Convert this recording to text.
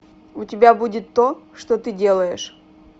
у тебя будет то что ты делаешь